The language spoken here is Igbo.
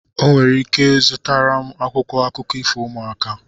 O nwere ike zụtara m akwụkwọ akụkọ ifo ụmụaka